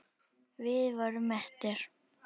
Við vorum mettir.